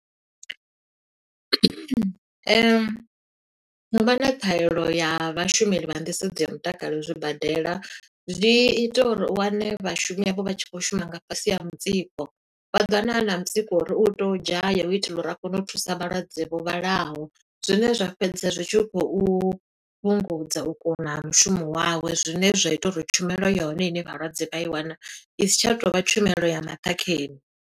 U vha na ṱhahelelo ya vhashumeli vha nḓisedzo ya mutakalo zwibadela, zwi ita uri u wane vhashumi avho vha tshi khou shuma nga fhasi ha mutsiko. Vha ḓo wana a na mutsiko wo uri u to dzhaya u itela uri a kone u thusa vhalwadze vho vhalaho. Zwine zwa fhedza zwi tshi khou fhungudza, u kuna ha mushumo wawe. Zwine zwa ita uri tshumelo ya hone ine vhalwadze vha i wana, i si tsha tovha tshumelo ya maṱhakheni.